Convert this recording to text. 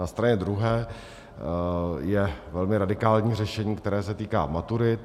Na straně druhé je velmi radikální řešení, které se týká maturit.